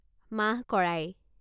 মাহ কৰাই